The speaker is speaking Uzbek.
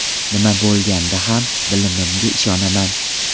Nima bo‘lganda ham bilimimga ishonaman.